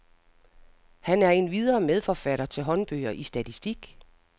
Han er endvidere medforfatter til håndbøger i statistik.